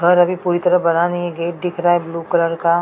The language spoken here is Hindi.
और अभी पूरी तरह बना नहीं है। गेट दिख रहा है ब्लू कलर का।